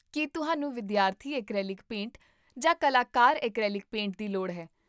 ਕੀ ਤੁਹਾਨੂੰ ਵਿਦਿਆਰਥੀ acrylic paint ਜਾਂ ਕਲਾਕਾਰ ਐਕ੍ਰੀਲਿਕ ਪੇਂਟ ਦੀ ਲੋੜ ਹੈ?